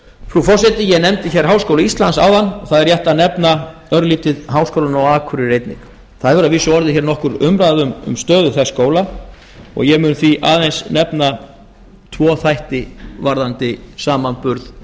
frú forseti ég nefndi hér háskóla íslands áðan og það er rétt að nefna örlítið háskólann á akureyri einnig það hefur að vísu orðið hér nokkur umræða um stöðu þess skóla og ég mun því aðeins nefna tvo þætti varðandi samanburð